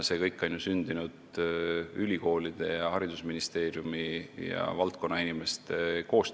See kõik on ju sündinud koostöös ülikoolide, haridusministeeriumi ja valdkonna inimestega.